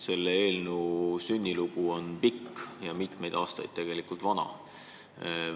Selle eelnõu sünnilugu on pikk, tegelikult kestnud mitu aastat.